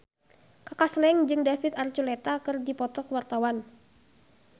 Kaka Slank jeung David Archuletta keur dipoto ku wartawan